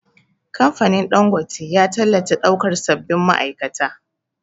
Kamfanin Ɗangote ya tallata ɗaukan sabbin ma'aikata